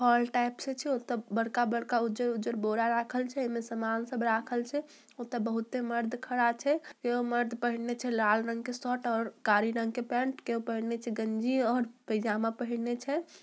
छे तब बड़का-बड़का उजर-उजर सामान रखल छे एमे सब समान रखल छे तब बहुत मर्द खड़ा छे एगो मर्द पेहनले छे लाल रंग के शर्ट और काली रंग के पेंट और केहू पेहनले गंजी और पैजामा पेहने छे।